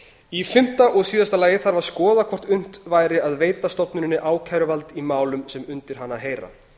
í fimmta og síðasta lagi þarf að skoða hvort unnt væri að veita stofnuninni ákæruvald í málum sem undir hana heyra